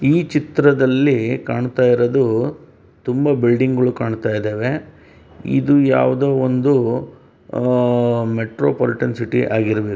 ಈ ಚಿತ್ರದಲ್ಲೀ ಕಾಣುತ ಇರೋದೂ ತುಂಬ ಬಿಲ್ಡಿಂಗ್ ಗುಳು ಕಾಣುತ ಇದಾವೆ ಇದು ಯಾವ್ದೋ ಒಂದು ಅಆಆ ಮೆಟ್ರೋಪೊಲಿಟಿನ್ ಸಿಟಿ ಇದ್ ಆಗಿರ್ಬೇ .]